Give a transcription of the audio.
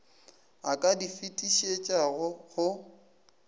a ka di fetišetšago go